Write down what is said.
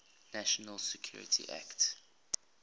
national security act